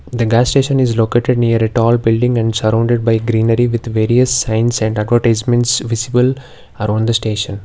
the gas station is located near a tall building and surrounded by greenery with various signs and advertisement visible around the station.